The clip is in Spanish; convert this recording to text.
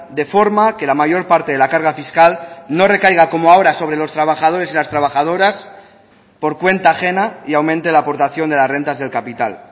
de forma que la mayor parte de la carga fiscal no recaiga como ahora sobre los trabajadores y las trabajadoras por cuenta ajena y aumente la aportación de las rentas del capital